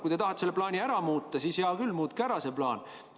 Kui te tahate selle plaani ära muuta, siis hea küll, muutke see plaan ära.